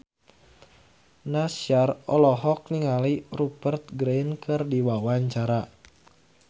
Nassar olohok ningali Rupert Grin keur diwawancara